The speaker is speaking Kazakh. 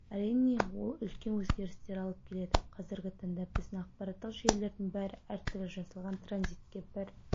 әрине ол үлкен өзгерістер алып келеді қазіргі таңда біздің ақпараттық жүйелердің бәрі әртүрлі жасалған транзитке бір